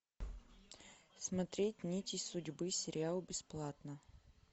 смотреть нити судьбы сериал бесплатно